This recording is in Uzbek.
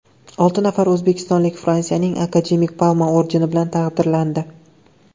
Olti nafar o‘zbekistonlik Fransiyaning Akademik Palma ordeni bilan taqdirlandi.